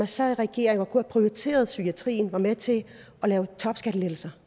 sad i regering og kunne have prioriteret psykiatrien var med til at lave topskattelettelser